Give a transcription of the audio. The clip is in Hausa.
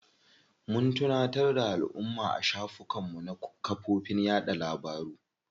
Mun tunatar da alumma a shafukan mu na kafofin yaɗa labaru.